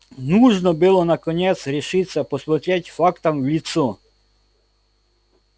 нужно было наконец решиться посмотреть фактам в лицо